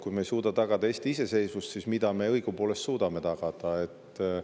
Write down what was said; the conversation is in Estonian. Kui me ei suuda tagada Eesti iseseisvust, siis mida me õigupoolest tagada suudame?